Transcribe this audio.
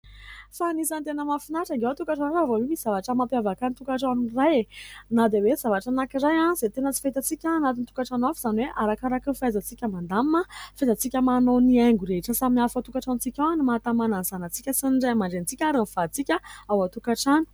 Fa anisany tena mahafinatra ange ao tokatrano ao raha vao misy zavatra mampiavaka ny tokatrano iray e ! Na dia hoe zavatra anankiray izay tena tsy fahitantsika anatin'ny tokatrano hafa izany hoe arakaraky ny fahaizantsika mandamina, fahaizantsika manao ny haingo rehetra samihafa ao tokatrantsika ao no mahatamana ny zanatsika sy ny raiamandrenitsika ary ny vaditsika ao an-tokatrano.